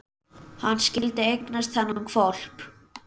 Hann skyldi eignast þennan hvolp!